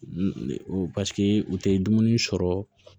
Paseke u tɛ dumuni sɔrɔ